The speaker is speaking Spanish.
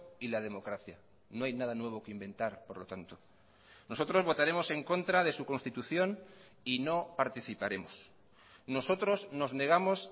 y la democracia no hay nada nuevo que inventar por lo tanto nosotros votaremos en contra de su constitución y no participaremos nosotros nos negamos